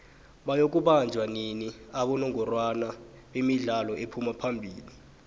bayoku banjoua nini abongorwa bemidlalo ephuma phamili